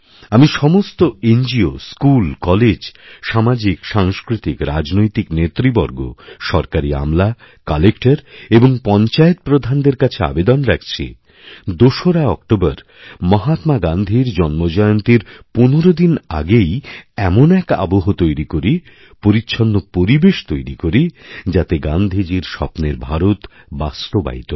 আমি সমস্তএনজিও school college সামাজিকসাংস্কৃতিকরাজনৈতিক নেতৃবর্গ সরকারী আমলাকালেক্টর এবং পঞ্চায়েত প্রধানদের কাছে আবেদন রাখছি দোসরা অক্টোবর মহাত্মা গান্ধীরজন্মজয়ন্তীর পনেরো দিন আগেই এমন এক আবহ তৈরি করি পরিচ্ছন্ন পরিবেশ তৈরি করি যাতেগান্ধীজীর স্বপ্নের ভারত বাস্তবায়িত হয়